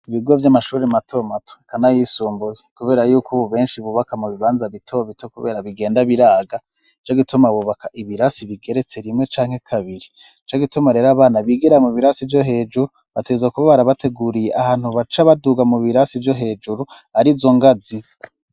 Ibigo vy'amashuri matomatwe kana yisumbuze, kubera yuko, ubu benshi bubaka mu bibanza bitobito, kubera bigenda biraga co gituma bubaka ibirasi bigeretse rimwe canke kabiri co gituma rero abana bigira mu birasi vyo hejuru bateza kuba barabateguriye ahantu baca baduga mu birasi vyo hejuru ari zo ngazi.